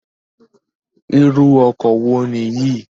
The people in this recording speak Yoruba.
Irú ọkọ wo Nìyí?